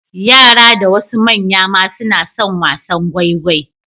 Yara da wasu manya ma suna son wasan gwaigwai.